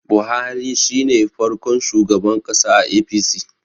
Buhari shi ne farkon shugaban ƙasa a A.p.c